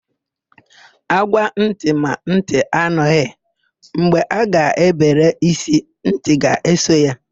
Ágwá ntị ma ntị anụghị; mgbe a ga-ebere ísí, ntị ga-eso ya.